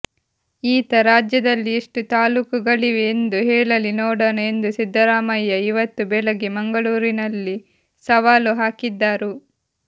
ಈತ ರಾಜ್ಯದಲ್ಲಿ ಎಷ್ಟು ತಾಲೂಕುಗಳಿವೆ ಎಂದು ಹೇಳಲಿ ನೋಡೋಣ ಎಂದು ಸಿದ್ದರಾಮಯ್ಯ ಇವತ್ತು ಬೆಳಗ್ಗೆ ಮಂಗಳೂರಿನಲ್ಲಿ ಸವಾಲು ಹಾಕಿದ್ದರು